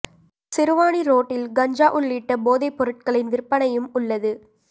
சிறுவாணி ரோட்டில் கஞ்சா உள்ளிட்ட போதை பொருட்களின் விற்பனையும் உள்ளது